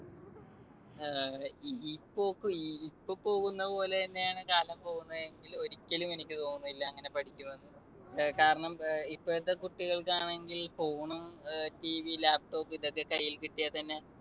അഹ് ഇപ്പൊ പോകുന്ന പോലെതന്നെയാണ് കാലം പോകുന്നതെങ്കിൽ ഒരിക്കലും എനിക്ക് തോന്നുന്നില്ല അങ്ങനെ പഠിക്കുമെന്ന്. കാരണം ഏർ ഇപ്പത്തെ കുട്ടികൾക്കാണെങ്കിൽ phone ഉം TV, laptop ഇതൊക്കെ കൈയിൽ കിട്ടിയാൽത്തന്നെ